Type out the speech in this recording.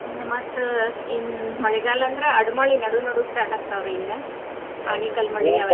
ಇನ್ನ ಮತ್ತ್ ಇನ್ ಮಳಿಗಾಲ ಅಂದ್ರ ಅಡ್ ಮಳಿ ನಡು ನಡು start ಆಗ್ತಾವ್ರಿ ಇನ್ನ ಆಣಿಕಲ್ಲ ಮಳಿ .